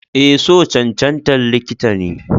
Eh, so cancantan likita ne.